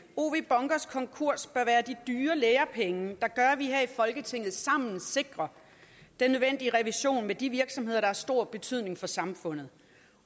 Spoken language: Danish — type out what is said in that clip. ow bunkers konkurs bør de dyre lærepenge der gør at vi her i folketinget sammen sikrer den nødvendige revision af de virksomheder der har stor betydning for samfundet